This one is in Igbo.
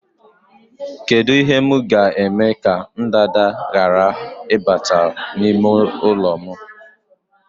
Kedu ihe m ga-eme ka ndanda ghara ịbata n'ime ụlọ m?